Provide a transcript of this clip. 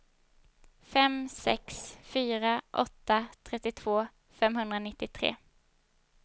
fem sex fyra åtta trettiotvå femhundranittiotre